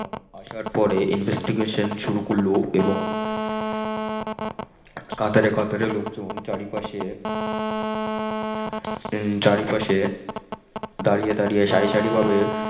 আসার পরে investigation সুরু করল এবং কাতারে কাতারে লোক চারিপাশে উম চারিপাশে দারিয়ে দারিয়ে সারি সারি ভাবে